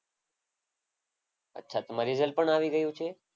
અચ્છા તમારા રીઝલ્ટ પણ આવી ગયું છે.